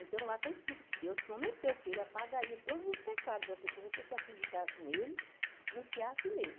Então, lá está escrito que Deus prometeu que ele apagaria todos os pecados da pessoa, se a pessoa acreditasse nele e confiasse nele.